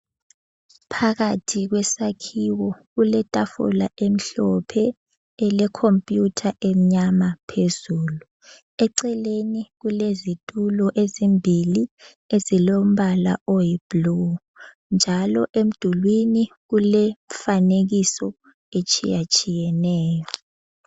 Phakathi kwesakhiwo kuletafula emhlophe elekhompiyutha emnyama phezulu. Eceleni kulezitulo ezimbili ezilombala oyi blue, njalo emdulwini kulemifanekiso etshiyatshiyeneyo.